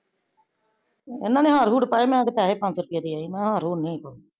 ਇਹਨਾਂ ਨੇ ਹਾਰ ਹੂਰ ਪਾਇਆ, ਮੈ ਤਾਂ ਪੈਸੇ ਪੰਜਸੋ ਰੁਪੈ ਦੇ ਆਈ ਮੈ ਹਾਰ ਹੂਰ ਨੀ ਹੈਗਾ।